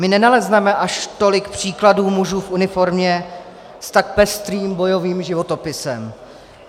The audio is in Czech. My nenalezneme až tolik příkladů mužů v uniformě s tak pestrým bojovým životopisem.